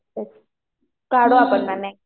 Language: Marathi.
बरं. काढू आपण मॅम एक.